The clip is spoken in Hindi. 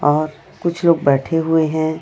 और कुछ लोग बैठे हुए हैं।